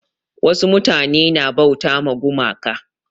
Wasu mutane na bauta ma gumaka.